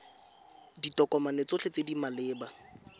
ditokomane tsotlhe tse di maleba